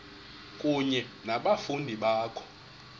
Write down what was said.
kunye nabafundi bakho